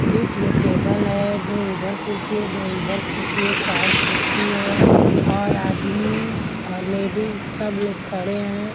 बीच में टेबल है दो इधर कुर्सी है दो इधर कुर्सी है चार कुर्सी है और आदमी और लेडीज़ सब लोग खड़े हैं।